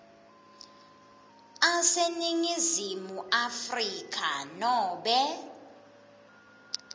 aseningizimu afrika nobe